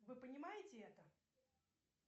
вы понимаете это